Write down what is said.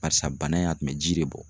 Barisa bana in a tun bɛ ji de bɔ